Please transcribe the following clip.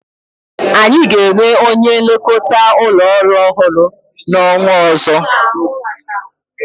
Anyi ga-enwe onye nlekọta ụlọ orụ ọhụrụ n'ọnwa ọzọ.